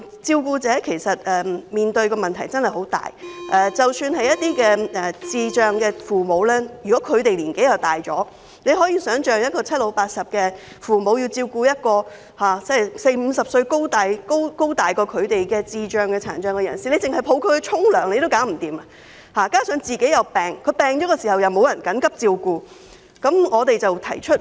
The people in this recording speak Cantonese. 照顧者其實面對的問題真的很大，一些照顧智障人士的父母年紀已很大，你可以想象七老八十的父母要照顧比他們還要高大的四五十歲智障、殘障人士，單單是扶抱他們去洗澡也做不到；如果他們自己也生病，便沒有人能幫忙緊急照顧智障、殘障子女。